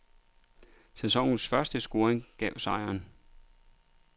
Sæsonens første scoring gav sejren.